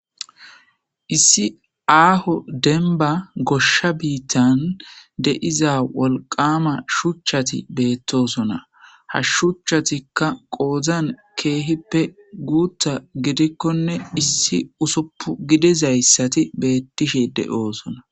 Issi aaho denba goshsha biittan de7iza wolqama shuchchati beettosona hashshuchatikka qoozan keehippe guutta gidikkonne issi usoppu gidizayssati beettishe de7oosona.